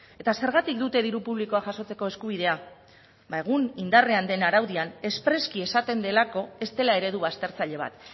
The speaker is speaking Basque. eta zergatik dute diru publikoa jasotzeko eskubidea ba egun indarrean den araudian espreski esaten delako ez dela eredu baztertzaile bat